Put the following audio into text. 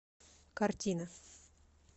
картина